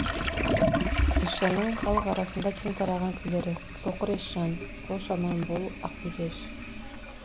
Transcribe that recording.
есжанның халық арасында кең тараған күйлері соқыр есжан қош аман бол ақби кеш